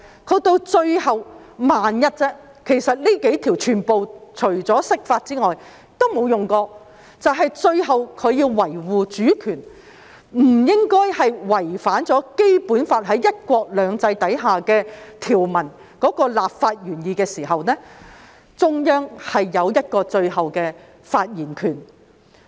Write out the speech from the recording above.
到了最後——只是萬一，其實這幾項條文除釋法外，也沒有用過——只是在要維護主權，不應該違反《基本法》在"一國兩制"下條文的立法原意時，中央有最後的發言權。